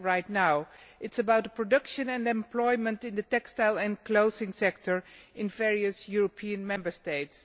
It is about production and employment in the textile and clothing sector in various European Member States.